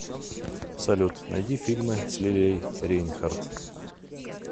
салют найди фильмы с лилией рейнхарт